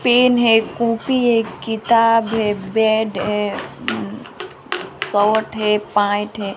Pen है copy है किताब है बेड एं शर्ट है पेंट है।